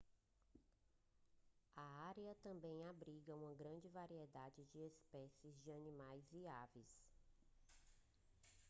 a área também abriga uma grande variedade de especies de animais e aves